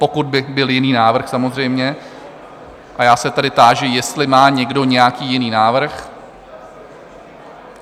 Pokud by byl jiný návrh samozřejmě, a já se tedy táži, jestli má někdo nějaký jiný návrh?